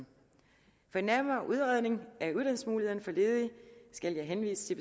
og nærmere udredning af uddannelsesmulighederne for ledige skal jeg henvise